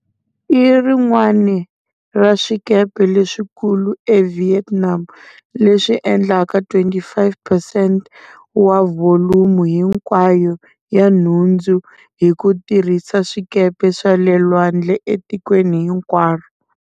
I rin'wana ra swikepe leswikulu eVietnam, leswi endlaka 25 percent wa vholumo hinkwayo ya nhundzu hi ku tirhisa swikepe swa le lwandle etikweni hinkwaro.